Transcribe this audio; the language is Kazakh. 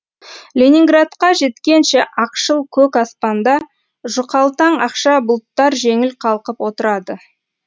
ленинградқа жеткенше ақшыл көк аспанда жұқалтаң ақша бұлттар жеңіл қалқып отырады